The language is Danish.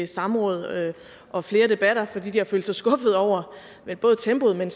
samråd og flere debatter fordi de har følt sig skuffet over tempoet men